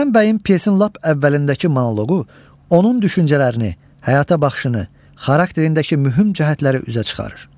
Rüstəm bəyin pyesin lap əvvəlindəki monoqohu onun düşüncələrini, həyata baxışını, xarakterindəki mühüm cəhətləri üzə çıxarır.